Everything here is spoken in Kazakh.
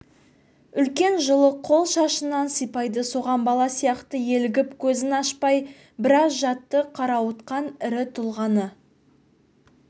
үлкен жылы қол шашынан сипайды соған бала сияқты елігіп көзін ашпай біраз жатты қарауытқан ірі тұлғаны